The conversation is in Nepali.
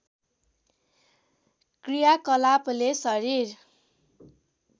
क्रियाकलापले शरीर